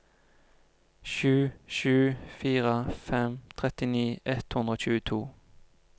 sju sju fire fem trettini ett hundre og tjueto